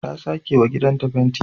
Ta sakewa gidanta fenti